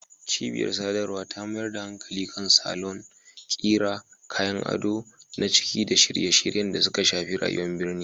Cibiyar sadarwa ta mayar da hankali kan salon, ƙira, kayan ado na ciki da shirye-shiryen da suka shafi rayuwar birni